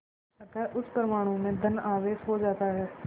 अतः उस परमाणु में धन आवेश हो जाता है